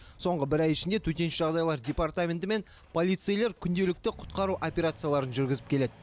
соңғы бір ай ішінде төтенше жағдайлар департаменті мен полицейлер күнделікті құтқару операцияларын жүргізіп келеді